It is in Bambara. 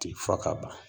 Ti fo ka ban